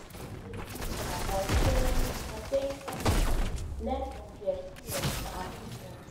i fit deal with am by staying by staying positive learn from di experience and move on.